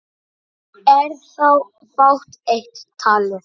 Er þá fátt eitt talið.